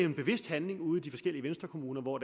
en bevidst handling ude i de forskellige venstrekommuner hvor